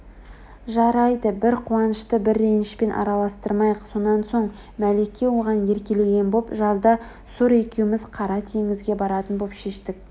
жарайды бір қуанышты бір ренішпен араластырмайық сонан соң мәлике оған еркелеген боп жазда сур екеуміз қара теңізге баратын боп шештік